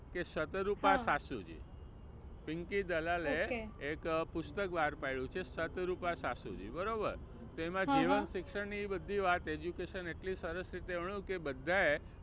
કે સતરૂપા સાસુજી. પિંકી દલાલ એ એક પુસ્તક બહાર પાડયું છે સતરૂપા સાસુજી બરોબર તો એમાં જીવન શિક્ષણ ની બધી વાત education એટલી સરસ રીતે આણ્યું કે બધા એ